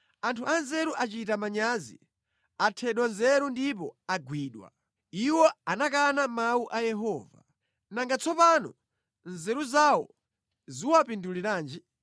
Anthu anzeru achita manyazi; athedwa nzeru ndipo agwidwa. Iwo anakana mawu a Yehova. Nanga tsono nzeru zawo ziwapinduliranji?